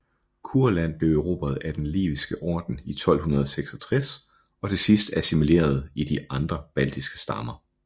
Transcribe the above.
Kurland blev erobret af Den Liviske Orden i 1266 og til sidst assimileret i de andre baltiske stammer